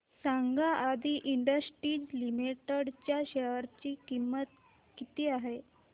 सांगा Adi industries limited च्या share ची किंमत किती आहे